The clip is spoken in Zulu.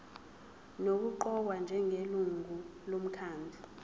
nokuqokwa njengelungu lomkhandlu